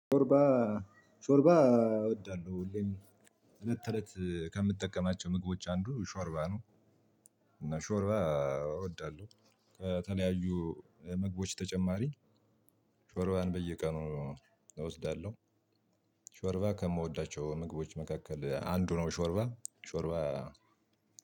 ሾርባ ሾርባ እወዳለሁ፤ ሁሌም እለት ተእለት ከምትጠቀማቸው ምግቦች አንዱ ሾርባ ነው። እና ሾርባ እወዳለሁ፣ ከተለያዩ ምግቦች ተጨማሪ ሾርባን በየቀኑ እወስዳለሁ። ሾርባ ከምወዳቸው ምግቦች መካከል አንዱ ነው ሾርባ፣ ሾርባ